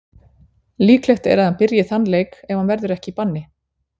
Líklegt er að hann byrji þann leik ef hann verður ekki í banni.